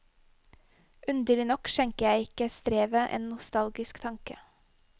Underlig nok skjenker jeg ikke strevet en nostalgisk tanke.